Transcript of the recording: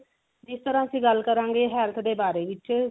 ਜਿਸ ਤਰਾਂ ਅਸੀਂ ਗੱਲ ਕਰਾਂਗੇ health ਦੇ ਬਾਰੇ ਵਿੱਚ